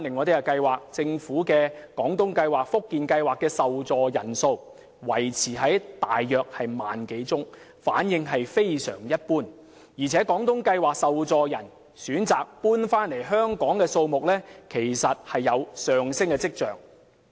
再看政府的廣東計劃及福建計劃，受助人數維持約 10,000 多宗，反應非常一般，而且廣東計劃的受助人選擇遷回香港的數目其實有上升跡象。